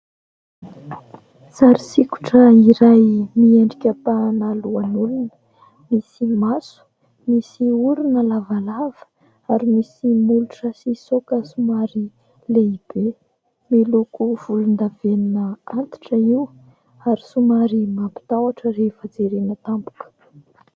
Sary sikotra iray miendrika ampahana lohan'olona. Misy maso, misy orona lavalava ary misy molotra sy saoka somary lehibe. Miloko volondavenona antitra io ary somary mampitahotra rehefa jerena tampoka.